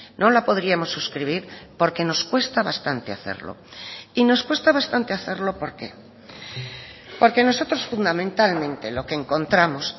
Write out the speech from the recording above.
no la podríamos suscribir porque nos cuesta bastante hacerlo y nos cuesta bastante hacerlo por qué porque nosotros fundamentalmente lo que encontramos